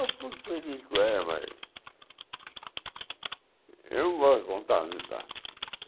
Eu fui feliz com ela, mas eu não gosto de contar.